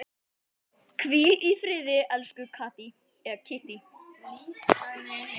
Hvíl í friði, elsku Kittý.